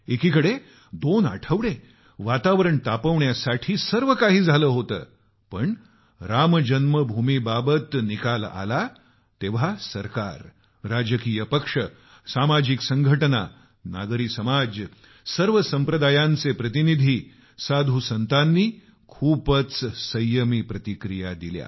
एकीकडे दोन आठवडे वातावरण तापवण्यासाठी सर्व काही झालं होतं पण राम जन्मभूमीवर निकाल आला तेव्हा सरकार राजकीय पक्ष सामाजिक संघटना नागरी समाज सर्व संप्रदायांचे प्रतिनिधी साधू संतानी खूपच संयमी प्रतिक्रिया दिल्या